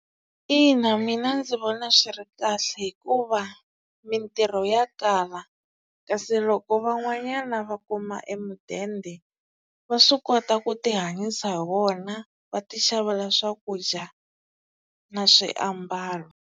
Ina mina ndzi vona swi ri kahle, hikuva mintirho ya kala. Kasi loko van'wanyana va kuma emidende va swi kota ku tihanyisa hi wona va ti xavela swakudya na swiambalo.